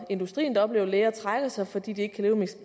industrien der oplever at læger trækker sig fordi de ikke kan leve med